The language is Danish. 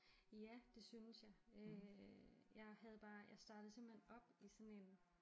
Ja det synes jeg øh jeg havde bare jeg startede simpelthen op i sådan en